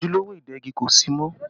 Ojúlówó ìdegi kò sí mọ́